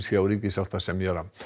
hjá ríkissáttasemjara